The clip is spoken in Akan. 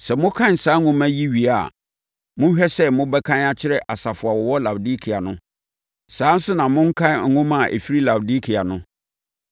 Sɛ mokan saa nwoma yi wie a, monhwɛ sɛ mobɛkan akyerɛ asafo a wɔwɔ Laodikea no. Saa ara nso na monkan nwoma a ɛfiri Laodikea no.